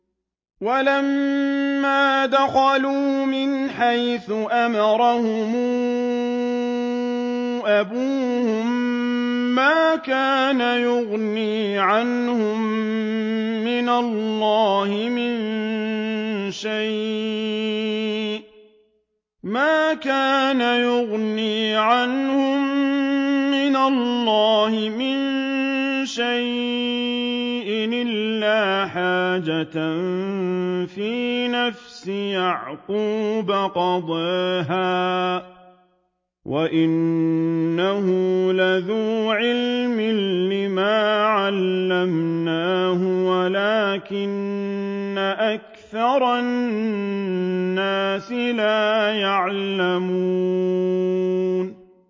وَلَمَّا دَخَلُوا مِنْ حَيْثُ أَمَرَهُمْ أَبُوهُم مَّا كَانَ يُغْنِي عَنْهُم مِّنَ اللَّهِ مِن شَيْءٍ إِلَّا حَاجَةً فِي نَفْسِ يَعْقُوبَ قَضَاهَا ۚ وَإِنَّهُ لَذُو عِلْمٍ لِّمَا عَلَّمْنَاهُ وَلَٰكِنَّ أَكْثَرَ النَّاسِ لَا يَعْلَمُونَ